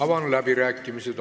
Avan läbirääkimised.